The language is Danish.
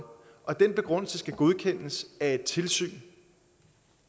og den begrundelse skal godkendes af et tilsyn